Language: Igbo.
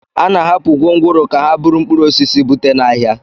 A na-ahapụ gwongworo ka ha buru mkpụrụ osisi bute n'ahịa